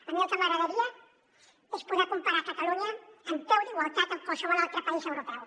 a mi el que m’agradaria és poder comparar catalunya en peu d’igualtat amb qualsevol altre país europeu